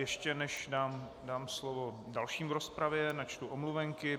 Ještě než dám slovo dalším v rozpravě, načtu omluvenky.